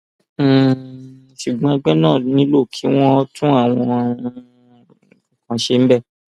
um ṣùgbọn ẹgbẹ náà nílò kí wọn tún àwọn um nǹkan kan ṣe